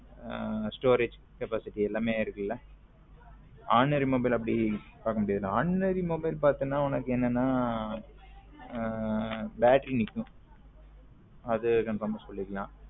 Storage capacity எல்லாமே இருக்குல ordinary mobile ல அப்பிடி பாக்க முடியாதுல ordinary mobile பாத்தின உனக்கு என்னன்னா battery நிக்கும் அது conform ஆ சொல்லிக்கலாம்.